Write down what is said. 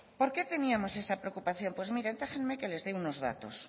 por qué teníamos esa preocupación mire déjenme que les dé unos datos